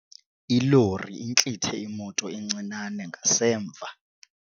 Ilori intlithe imoto encinane ngasemva.